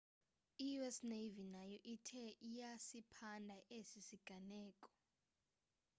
i-us navy nayo ithe iyasiphanda esi siganeko